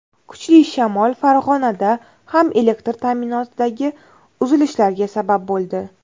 Kuchli shamol Farg‘onada ham elektr ta’minotidagi uzilishlarga sabab bo‘ldi.